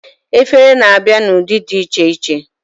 Efere na-abịa na ụdị dị iche iche